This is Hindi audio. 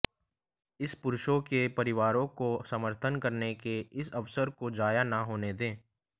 इन पुरुषों के परिवारों का समर्थन करने के इस अवसर को जाया न होने दें